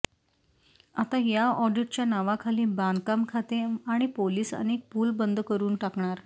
आता या ऑडिटच्या नावाखाली बांधकाम खाते आणि पोलीस अनेक पूल बंद करून टाकणार